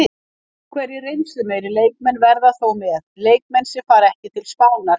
Einhverjir reynslumeiri leikmenn verða þó með, leikmenn sem fara ekki til Spánar.